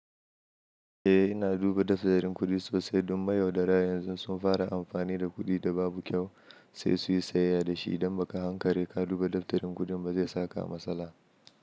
Eh ina duba daftarin kuɗi sosai don mayaudara. Yanzu sun fara amfani da kuɗi da babu kyau sai suyi sayayya da shi idan ba ka hankali ka duba daftarin kuɗin ba zai saka a matsala.